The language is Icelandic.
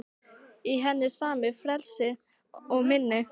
Í henni sama frelsið og minni.